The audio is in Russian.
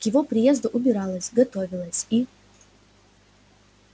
к его приезду убиралась готовилась и